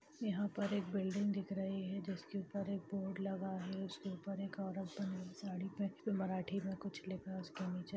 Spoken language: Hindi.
यहाँ पर एक बिल्डिंग दिख रही है जिसके ऊपर एक बोर्ड लगा है उसके ऊपर एक औरत बनी है साड़ी पहन कर मराठी में कुछ लिखा है उसके नीचे।